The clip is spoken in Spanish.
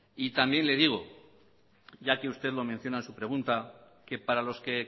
también le digo ya que usted lo menciona en su pregunta que para los que